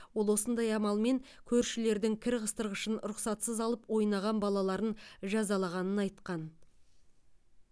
ол осындай амалмен көршілердің кір қыстырғышын рұқсатсыз алып ойнаған балаларын жазалағанын айтқан